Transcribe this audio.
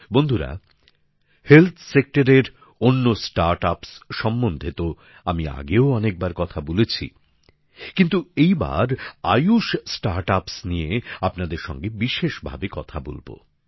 বন্ধুরা স্বাস্থ্য ক্ষেত্রের অন্য স্টার্ট আপসের সম্বন্ধে তো আমি আগেও অনেকবার কথা বলেছি কিন্তু এইবার আয়ুস স্টার্ট আপস নিয়ে আপনাদের সঙ্গে বিশেষভাবে কথা বলব